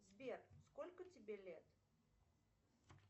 сбер сколько тебе лет